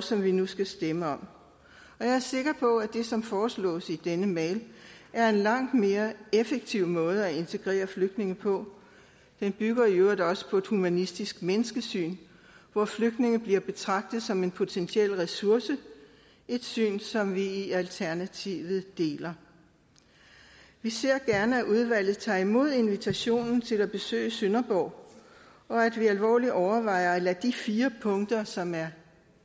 som vi nu skal stemme om jeg er sikker på at det som foreslås i denne mail er en langt mere effektiv måde at integrere flygtninge på den bygger i øvrigt også på et humanistisk menneskesyn hvor flygtninge bliver betragtet som en potentiel ressource et syn som vi i alternativet deler vi ser gerne at udvalget tager imod invitationen til at besøge sønderborg og at vi alvorligt overvejer at lade de fire punkter som er